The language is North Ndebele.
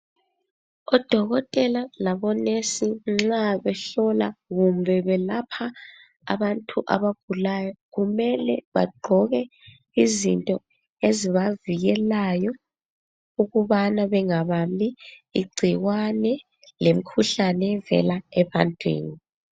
ODokotela labonesi nxa behlola kumbe belapha abantu abagulayo, kumele bagqoke izinto ezibavikelayo ukubana bengabambi igcikwane lemikhuhlane evela ebantwini.